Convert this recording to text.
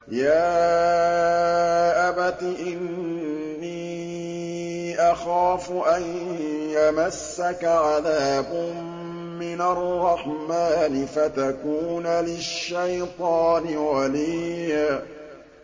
يَا أَبَتِ إِنِّي أَخَافُ أَن يَمَسَّكَ عَذَابٌ مِّنَ الرَّحْمَٰنِ فَتَكُونَ لِلشَّيْطَانِ وَلِيًّا